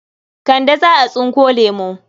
Kande za a tsinko lemo.